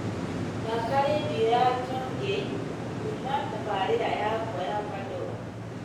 thaaka rĩndiũ ya chamgei kuuma tabarĩra yakwa ya pandora